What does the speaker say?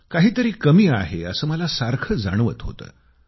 काही तरी कमी आहे असं मला सारखं जाणवत होतं